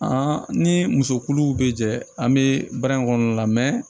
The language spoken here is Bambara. ni musokuluw bɛ jɛ an bɛ baara in kɔnɔna la